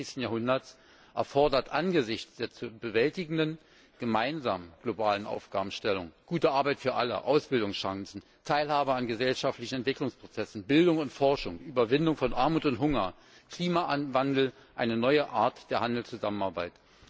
21. Jahrhunderts erfordert angesichts der zu bewältigenden gemeinsamen globalen Aufgabenstellungen gute Arbeit für alle, Ausbildungschancen, Teilhabe an gesellschaftlichen Entwicklungsprozessen, Bildung und Forschung, Überwindung von Armut und Hunger, Klimawandel eine neue Art der Handelszusammenarbeit.